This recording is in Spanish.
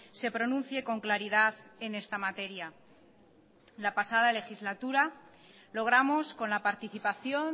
se pronuncie con claridad en esta materia la pasada legislatura logramos con la participación